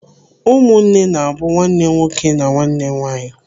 Ụmụnne na-abụ nwanne nwoke na nwanne nwaanyị.